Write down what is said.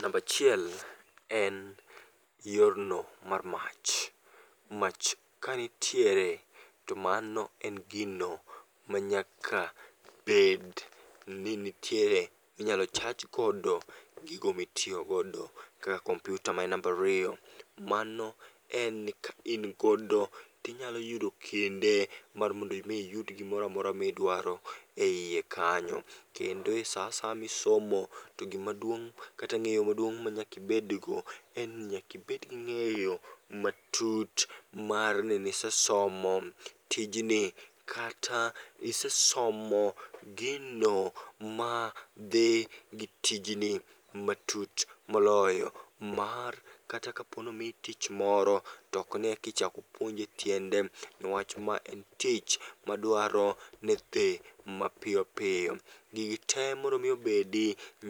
Nambachiel en yorno mar mach, mach kanitiere to mano en gino ma nyaka bed ni nitiere minyalo chajgodo gigo mitiyogodo kaka kompyuta maen nambariyo. Mano en ka in godo tinyaloyudo kinde mar mondo mi iyud gimoramora midwaro e iye kanyo. Kendo e sa asaya misomo to gimaduong' kata ng'eyo maduong' ma nyakibedgo en ni nyakibedgi ng'eyo matut ni nisesomo tijni. Kata isesomo gino ma dhi gi tijni matut moloyo mar kata kaponomiyi tich moro, tokni ekichak puonji e tiende. Niwach ma en tich madwaro nethe mapiyopiyo. Gigi te mondo mi obedi,